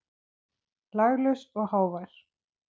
Laglaus og hávær.